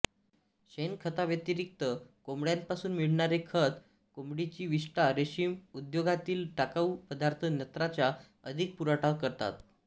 शेणखताव्यतिरिक्त कोंबड्यांपासून मिळणारे खत कोंबडीची विष्ठा रेशीम उद्योगातील टाकाऊ पदार्थ नत्राचा अधिक पुरवठा करतात